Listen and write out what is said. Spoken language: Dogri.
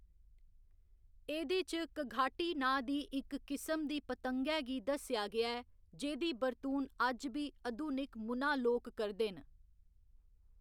एह्‌दे च कघाटी नांऽ दी इक किसम दी पतंगै गी दस्सेआ गेआ ऐ, जेह्‌दी बरतून अज्ज बी अधुनिक मुना लोक करदे न।